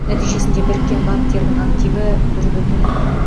нәтижесінде біріккен банктердің активі бір бүтін